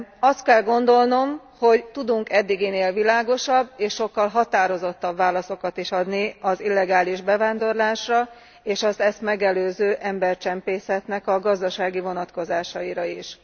Azt kell gondolnom, hogy tudunk eddiginél világosabb és sokkal határozottabb válaszokat is adni az illegális bevándorlásra, és az ezt megelőző embercsempészetnek a gazdasági vonatkozásaira is.